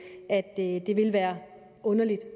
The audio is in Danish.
at det ville være underligt